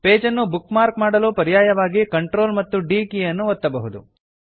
ಪೇಜನ್ನು bookmark ಮಾಡಲು ಪರ್ಯಾಯವಾಗಿ Ctrl ಮತ್ತು D ಕೀ ಯನ್ನು ಒತ್ತಬಹುದು